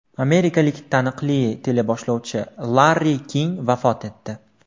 Amerikalik taniqli teleboshlovchi Larri King vafot etdi.